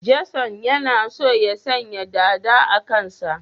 Jason yana so ya sanya dada a kansa